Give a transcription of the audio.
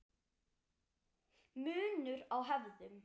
Munur á hefðum